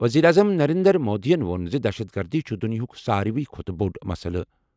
وزیر اعظم نریندر مودی یَن ووٚن زِ دہشت گردی چھُ دُنیاہُک ساروِی کھۄتہٕ بوٚڑ مسئلہٕ۔